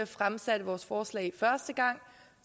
fremsatte vores forslag første gang